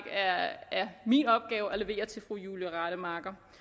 er min opgave at levere til fru julie rademacher